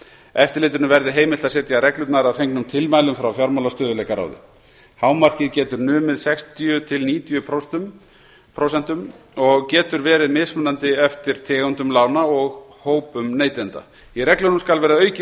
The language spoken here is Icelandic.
eftirlitinu verði heimilt að setja reglurnar að fengnum tilmælum frá fjármálastöðugleikaráði hámarkið getur numið sextíu til níutíu prósent og getur verið mismunandi eftir tegundum lána og hópum neytenda í reglunum skal vera aukið